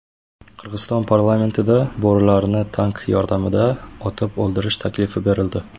Qirg‘iziston parlamentida bo‘rilarni tank yordamida otib o‘ldirish taklifi berildi.